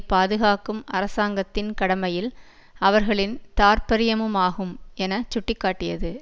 பாதுகாக்கும் அரசாங்கத்தின் கடமையில் அவர்களின் தார்ப்பரியமுமாகும் என சுட்டி காட்டியது